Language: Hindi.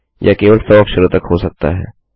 यह केवल 100 अक्षरों तक हो सकता है